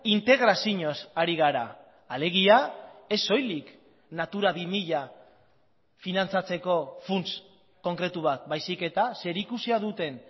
integrazioz ari gara alegia ez soilik natura bi mila finantzatzeko funts konkretu bat baizik eta zerikusia duten